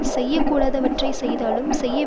செய்யக்கூடாதவற்றைச் செய்தாலும் செய்ய